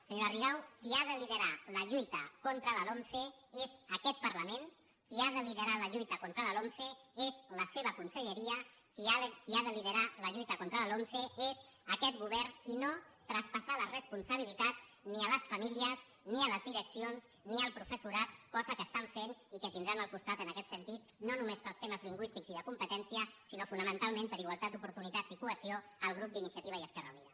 senyora rigau qui ha de liderar la lluita contra la lomce és aquest parlament qui ha de liderar la lluita contra la lomce és la seva conselleria qui ha de liderar la lluita contra la lomce és aquest govern i no traspassar les responsabilitats ni a les famílies ni a les direccions ni al professorat cosa que estan fent i que tindran al costat en aquest sentit no només per als temes lingüístics i de competència sinó fonamentalment per a igualtat d’oportunitats i cohesió el grup d’iniciativa i esquerra unida